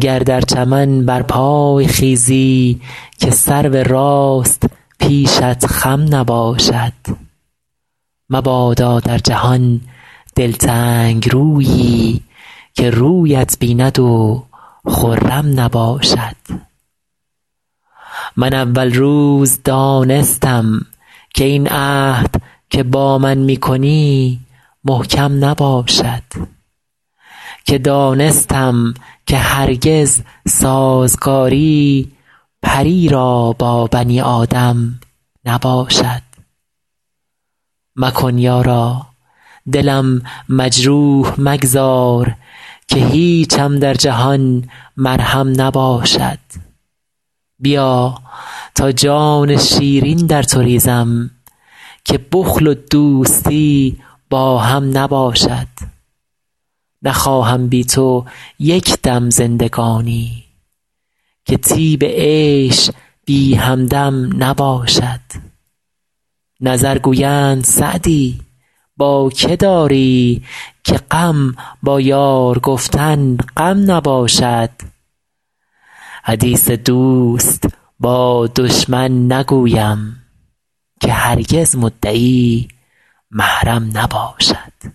گر در چمن برپای خیزی که سرو راست پیشت خم نباشد مبادا در جهان دلتنگ رویی که رویت بیند و خرم نباشد من اول روز دانستم که این عهد که با من می کنی محکم نباشد که دانستم که هرگز سازگاری پری را با بنی آدم نباشد مکن یارا دلم مجروح مگذار که هیچم در جهان مرهم نباشد بیا تا جان شیرین در تو ریزم که بخل و دوستی با هم نباشد نخواهم بی تو یک دم زندگانی که طیب عیش بی همدم نباشد نظر گویند سعدی با که داری که غم با یار گفتن غم نباشد حدیث دوست با دشمن نگویم که هرگز مدعی محرم نباشد